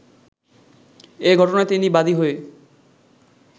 এ ঘটনায় তিনি বাদী হয়ে